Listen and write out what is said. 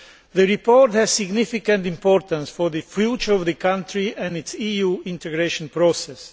The report is of significant importance for the future of the country and its EU integration process.